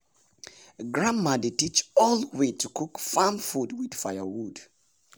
grandma dey teach old way to cook farm food with firewood.